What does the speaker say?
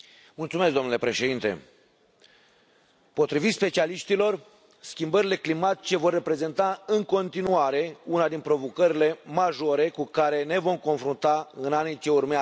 Domnule președinte, potrivit specialiștilor, schimbările climatice vor reprezenta în continuare una din provocările majore cu care ne vom confrunta în anii ce urmează.